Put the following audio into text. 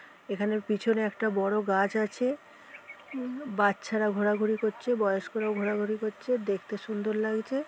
এখানের পিছনে একটা বড় গাছ আছে। উম বাচ্চারা ঘোরাঘুরি করছে বয়স্করাও ঘোরাঘুরি করছে দেখতে সুন্দর লাগছে-এ।